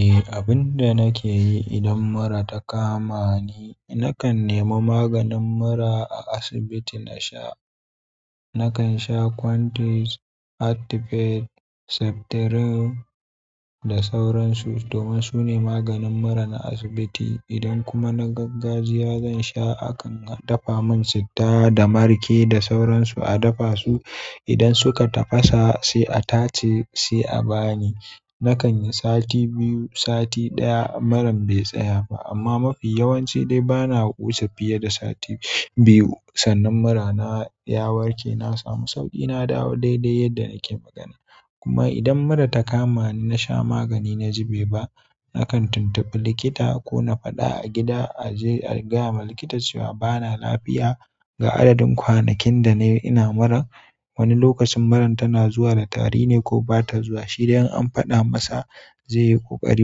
Eh, abin da nake yi idan mura ta kama ni, nakan nemi maganin mura a asibiti na sha. Nakan sha Quantis, Heartifet, Septrin da sauransu domin su ne maganin mura na asibiti. Idan kuma na gaggajiya, zan sha akan dafa mun citta da marke da sauransu a dafa su. Idan suka tafasa sai a tace, sai a bani. Nakan yi sati biyu, sati ɗaya muran bai tsaya ba amma mafi yawanci dai bana wuce fiye da sati biyu. Sannan murana ya warke. Na samu sauƙi, na dawo daidai yadda nake magana. Kuma idan mura ta kamani nasha magani naji be ba, nakan tuntubi likita kona faɗa a gida aje a gayawa likita cewa bana lafiya, ga adadin kwanakin da nayi ina mura, wani lokacin muran tana zuwa da tari me ko bata zuwa shi dai in an faɗa masa zai yi ƙoƙari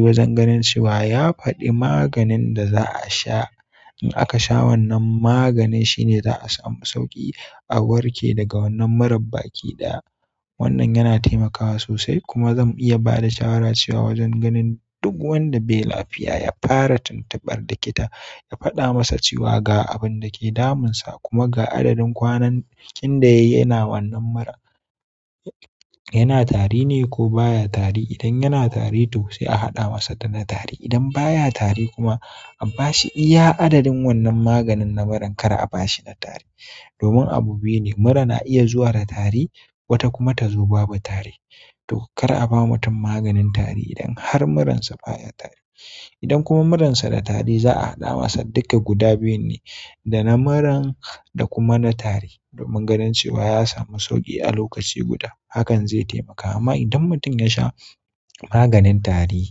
wajen ganin cewa ya faɗi maganin da za'a sha. In aka sha wannan maganin shine za a samu sauƙi a warke daga wannan murar baki ɗaya. Wannan yana taimakawa sosai kuma zan iya ba da shawara cewa wajen ganin duk wanda bai lafiya, ya fara tuntubar likita, ya faɗa masa cewa ga abin da ke damunsa kuma ga adadin kwanakin da yayi yana wannan mura, yana tari ne ko baya tari. Idan yana tari toh sai a haɗa masa da na tari. Idan baya tari kuma a ba shi iya adadin wannan maganin na muran kar a ba shi na tari. Domin abu biyu ne mura na iya zuwa da tari wata kuma ta zo babu tari. To kar a ba mutum maganin tari idan har muransa baya tari. Idan kuma muransa da tari za a haɗa masa dukka guda biyun ne, da na muran da kuma na tari domin ganin cewa ya samu sauƙi a lokaci guda. Hakan zai taimaka. Amma idan mutum ya sha maganin tari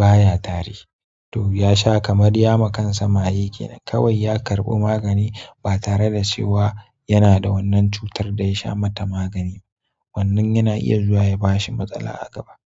baya tari toh ya sha kamar ya ma kansa maye. Kawai ya karɓi magani ba tare da cewa yana da wannan cutar da ya sha mata magani ba. Wannan yana iya zuwa ya ba shi matsala a gaba.